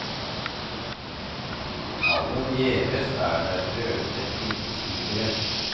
Aller gjeveste er den røde ildtigeren.